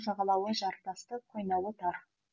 жағалауы жартасты қойнауы тар